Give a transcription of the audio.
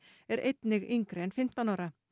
er einnig yngri en fimmtán ára